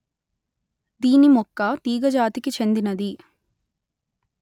దీని మొక్క తీగ జాతికి చెందినది